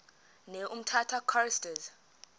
ne umtata choristers